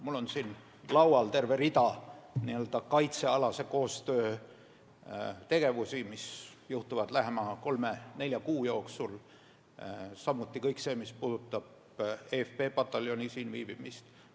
Mul on laual terve rida kaitsealase koostöö tegevusi, mis saavad teoks lähema kolme-nelja kuu jooksul, samuti kõik see, mis puudutab eFP pataljoni siin viibimist.